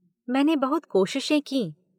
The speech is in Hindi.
मैंने बहुत कोशिशें कीं।